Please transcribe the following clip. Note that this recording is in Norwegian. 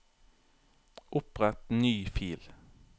Opprett ny fil